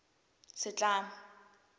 setlamo